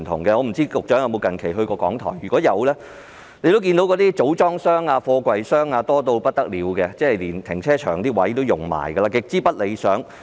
我不知道局長近期有否去過港台，如果有，他應該看到那些組裝箱、貨櫃箱多到不得了，連停車場的位置也佔用，情況極之不理想。